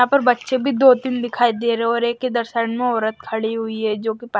यहां पर बच्चे भी दो तीन दिखाई दे रहे हैं और एक इधर साइड में औरत खड़ी हुई है जोकि --